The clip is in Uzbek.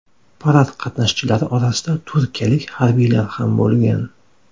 Parad qatnashchilari orasida turkiyalik harbiylar ham bo‘lgan.